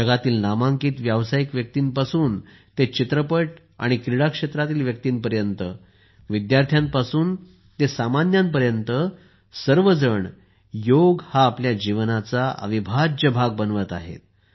जगातील नामांकित व्यावसायिक व्यक्तींपासून ते चित्रपट आणि क्रीडा क्षेत्रातील व्यक्तींपर्यंत विद्यार्थ्यांपासून ते सामान्य माणसांपर्यंत सर्वजण योग हा आपल्या जीवनाचा अविभाज्य भाग बनवत आहेत